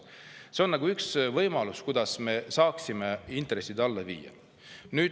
See on üks võimalus, kuidas me saaksime intressid alla viia.